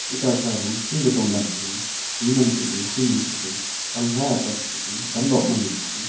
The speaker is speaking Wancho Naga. eka karum shung hunam tepu hukhi pangkha tepu.